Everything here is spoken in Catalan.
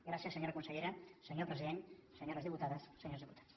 gràcies senyora consellera senyor president senyores diputades senyors diputats